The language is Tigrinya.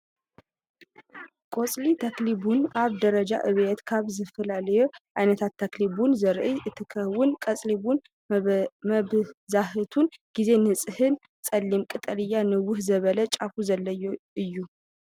ቆፅሊ ተኽሊ ቡን ኣብ ደረጃ ዕብየት ካብ ዝተፈላለዩ ዓይነታት ተኽሊ ቡን ዘርኢ እንትከውን፣ ቆጽሊ ቡን መብዛሕትኡ ግዜ ንፅህን ፀሊም ቀጠልያ ንውሕ ዝበለ ጫፋት ዘለዎ እዩ።